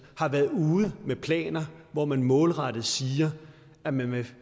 har været ude med planer hvor man målrettet siger at man vil